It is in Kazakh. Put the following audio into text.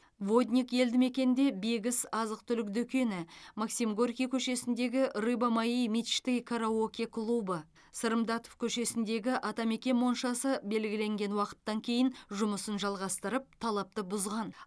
водник елді мекенінде бегіс азық түлік дүкені максим горький көшесіндегі рыба моей мечты караоке клубы сырым датов көшесіндегі атамекен моншасы белгіленген уақыттан кейін жұмысын жалғастырып талапты бұзған